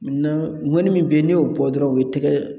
Na ŋɔni min be yen n'i y'o bɔ dɔrɔn o be tɛgɛ